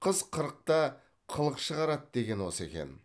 қыз қырықта қылық шығарады деген осы екен